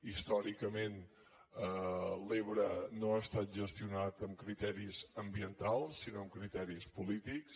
històricament l’ebre no ha estat gestionats amb criteris ambientals sinó amb criteris polítics